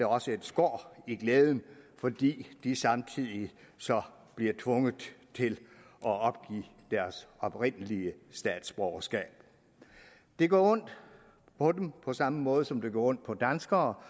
også er et skår i glæden fordi de samtidig så bliver tvunget til at opgive deres oprindelige statsborgerskab det gør ondt på dem på samme måde som det gør ondt på danskere